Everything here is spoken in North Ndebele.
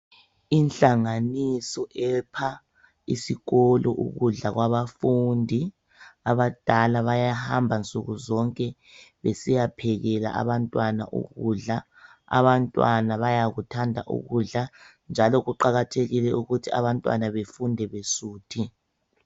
Inhlanganiso epha isikolo ukudla kwabafundi. Abadala bayahamba nsukuzonke besiyaphekela abantwana ukudla. Abantwana bayakuthanda ukudla njalo kuqakathekile ukuthi abantwana befunde besuthi.